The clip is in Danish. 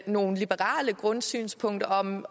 nogle liberale grundsynspunkter om